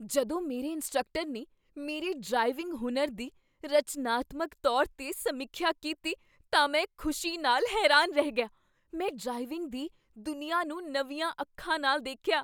ਜਦੋਂ ਮੇਰੇ ਇੰਸਟ੍ਰਕਟਰ ਨੇ ਮੇਰੇ ਡਰਾਈਵਿੰਗ ਹੁਨਰ ਦੀ ਰਚਨਾਤਮਕ ਤੌਰ 'ਤੇ ਸਮੀਖਿਆ ਕੀਤੀ ਤਾਂ ਮੈਂ ਖੁਸ਼ੀ ਨਾਲ ਹੈਰਾਨ ਰਹਿ ਗਿਆ। ਮੈਂ ਡਰਾਈਵਿੰਗ ਦੀ ਦੁਨੀਆ ਨੂੰ ਨਵੀਆਂ ਅੱਖਾਂ ਨਾਲ ਦੇਖਿਆ।